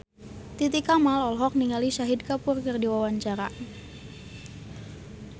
Titi Kamal olohok ningali Shahid Kapoor keur diwawancara